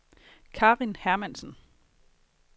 Karin Hermansen